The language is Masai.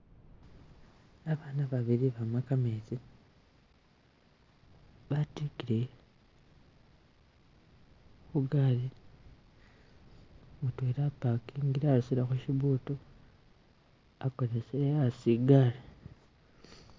Bana babili bama gameezi batikile kugaali mudwela aparkingile arusilekho shibuutu agonesele hasi igaari.